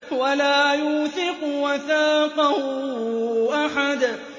وَلَا يُوثِقُ وَثَاقَهُ أَحَدٌ